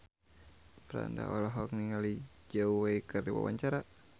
Franda olohok ningali Zhao Wei keur diwawancara